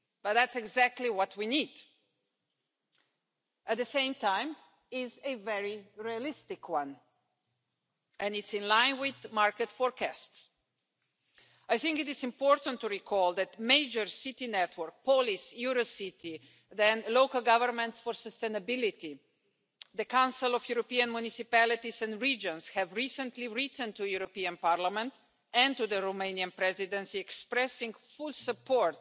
That's exactly what we need. At the same time it is a very realistic one and it is in line with the market forecasts. I think it is important to recall that major city networks, police, Eurocity, then local governments for sustainability, the Council of European Municipalities and Regions, have recently written to the European Parliament and to the Romanian Presidency expressing full support